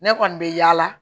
Ne kɔni bɛ yaala